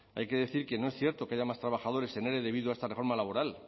hay que decir que no es cierto que haya más trabajadores en ere debido a esta reforma laboral